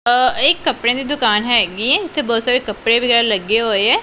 ਆ ਇਹ ਇੱਕ ਕੱਪੜਿਆ ਦੀ ਦੁਕਾਨ ਹੈਗੀ ਏ ਇੱਥੇ ਬਹੁਤ ਸਾਰੇ ਕੱਪੜੇ ਵਗੈਰਾ ਲੱਗੇ ਹੋਏ ਐ।